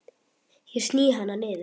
Ég sný hana niður.